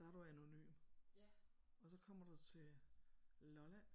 Der er du anonym og så kommer du til Lolland